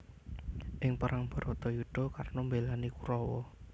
Ing perang Bharatayudha Karna mbélani Kurawa